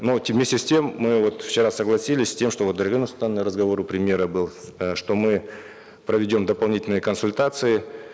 но вместе с тем мы вот вчера согласились с тем что вот у дариги нурсултановны разговор у премьера был э что мы проведем дополнительные консультации